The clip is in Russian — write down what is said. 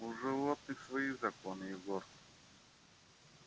у животных свои законы егор